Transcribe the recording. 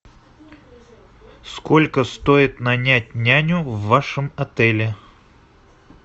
сколько стоит нанять няню в вашем отеле